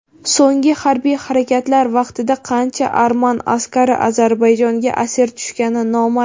So‘nggi harbiy harakatlar vaqtida qancha arman askari Ozarbayjonga asir tushgani noma’lum.